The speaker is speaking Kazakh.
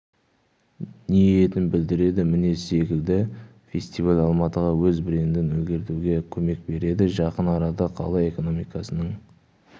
ниетін білдіреді міне секілді фестиваль алматыға өз брендін ілгерілетуге көмек береді жақын арада қала экономикасының